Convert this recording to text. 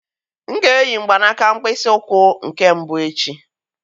M ga-eyi mgbanaka mkpịsị ụkwụ nke mbụ echi.